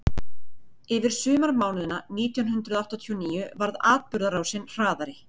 yfir sumarmánuðina nítján hundrað áttatíu og níu varð atburðarásin hraðari